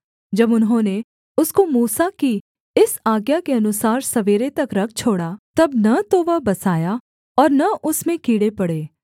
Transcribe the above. जब उन्होंने उसको मूसा की इस आज्ञा के अनुसार सवेरे तक रख छोड़ा तब न तो वह बसाया और न उसमें कीड़े पड़े